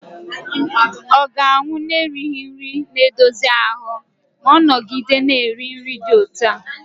ọ ga-anwụ n'erighị nri na-edozi ahụ ma ọ nọgide na-eri nri dị otú a?